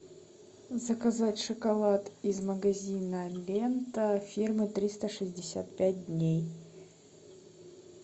заказать шоколад из магазина лента фирмы триста шестьдесят пять дней